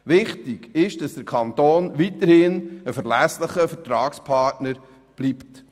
Wichtig ist, dass der Kanton weiterhin ein verlässlicher Vertragspartner bleibt.